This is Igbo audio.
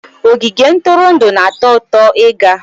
Ogige ntụrụndụ na-atọ ụtọ ịga